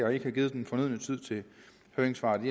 og ikke har givet den fornødne tid til høringssvar det